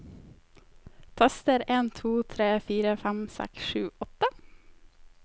Tester en to tre fire fem seks sju åtte